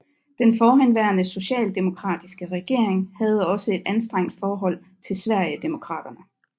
Den forhenværende socialdemokratiske regering havde også et anstrengt forhold til Sverigedemokraterna